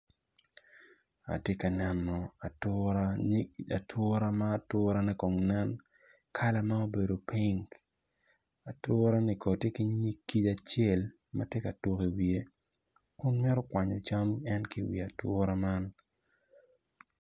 Atinka neno atura nyig atura ma aturane Kong nen kalane ma obedo ping atura-ni Ko ti ki nyig kic acel ma ti ka tuku iwiye Kun mito kwanyo cam en ki iwi atura man